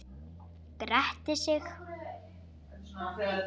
Gretti sig.